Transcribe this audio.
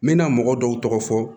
N mɛna mɔgɔ dɔw tɔgɔ fɔ